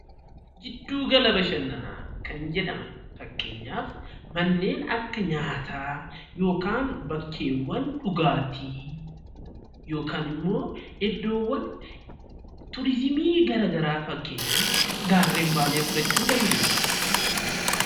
Giddugala bashannanaa kan jedhaman fakkeenyaaf manneen akka nyaataa yookaan bakkeewwan dhugaatii yookaan ammoo iddoowwan tuurizimii garagaraa fakkeenyaaf gaarreen Baalee fudhachuu dandeenya.